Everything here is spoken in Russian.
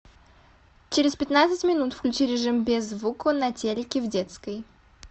через пятнадцать минут включи режим без звука на телике в детской